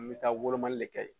N bɛ taa wolomali de kɛ